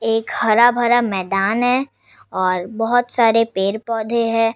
एक हरा-भरा मैदान है बहुत सारे पेड़-पौधे है ।